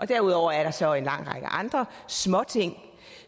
derudover er der så en lang række andre småting